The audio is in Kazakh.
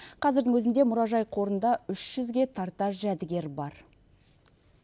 қазірдің өзінде мұражай қорында үш жүзге тарта жәдігер бар